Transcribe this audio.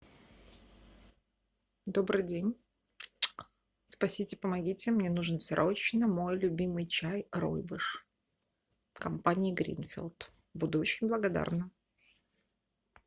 добрый день спасите помогите мне нужен срочно мой любимый чай ройбуш компании гринфилд буду очень благодарна